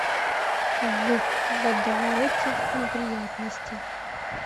в водовороте неприятностей